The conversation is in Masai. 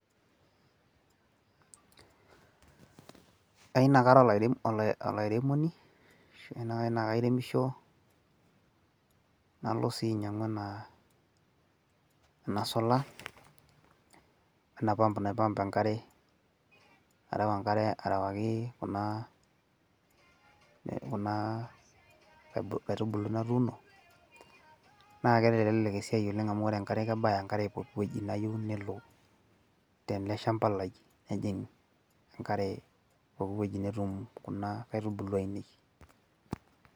kayieu naa kara olairemoni, ashu enaa kairemisho, naa kalo sii ainyiang'u ena solar wena pump nai pump enkare, areu enkare, arewaki kuna, aitubulu natuuno, naa keitelelk esiai oleng amu kebae enkare pooki wueji.